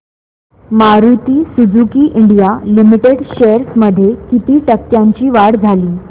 Maruti Suzuki India limited shares मध्ये किती टक्क्यांची वाढ झाली